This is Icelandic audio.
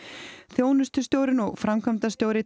þjónustustjórinn og framkvæmdastjóri